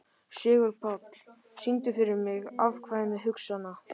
Sigurpáll, syngdu fyrir mig „Afkvæmi hugsana minna“.